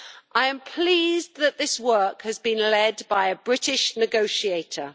I am pleased that this work has been led by a British negotiator.